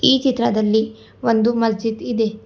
ಈ ಚಿತ್ರದಲ್ಲಿ ಒಂದು ಮಜಿದ ಇದೆ.